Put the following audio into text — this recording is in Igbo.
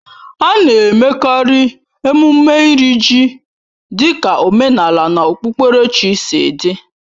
A na-emekarị emume Iri ji dịka omenala na okpukperechi sị dị